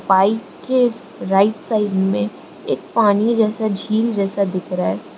Bike के right side में एक पानी जैसा झील जैसा दिख रहा है।